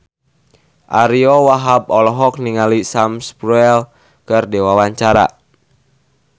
Ariyo Wahab olohok ningali Sam Spruell keur diwawancara